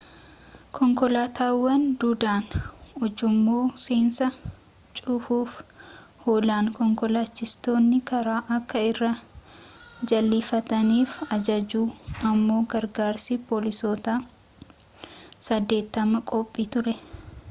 konkolaataawwan duudaan ujummoo seensaa cuufuuf oolan konkolaachistoonni karaa akka irraa jal'ifataniif ajajuuf ammoo gargaarsi poolisoota 80 qophii ture